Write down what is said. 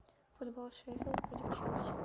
футбол шеффилд против челси